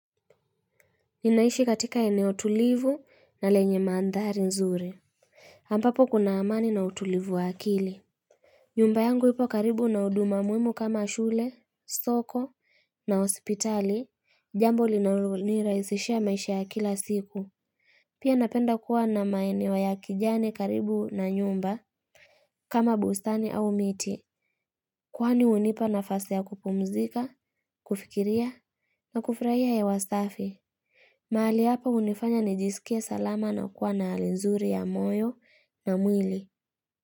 Ninaishi katika eneo tulivu na lenye maandhari nzuri ambapo kuna amani na utulivu wa akili. Nyumba yangu ipo karibu na huduma muhimu kama shule, soko. Na hospitali, jambo linalo nirahisishia maisha ya kila siku. Pia napenda kuwa na maeneo ya kijani karibu na nyumba. Kama bustani au miti kwani hunipa nafasi ya kupumzika, kufikiria, na kufurahia hewa safi. Mahali hapa hunifanya nijiskie salama na kuwa na hali nzuri ya moyo na mwili.